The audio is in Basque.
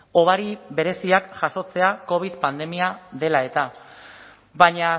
hobari bereziak jasotzea covid pandemia dela eta baina